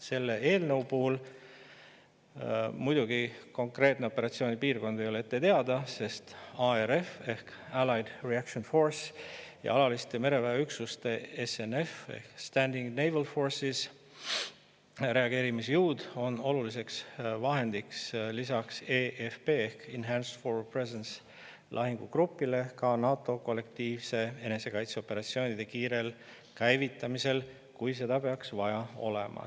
Selle eelnõu puhul muidugi konkreetne operatsioonipiirkond ei ole ette teada, sest ARF ehk Allied Reaction Force ja alaliste mereväeüksuste – Standing Naval Forces ehk SNF – reageerimisjõud on oluliseks toeks lisaks lahingugrupile ka NATO kollektiivse enesekaitse operatsioonide kiirel käivitamisel, kui seda peaks vaja olema.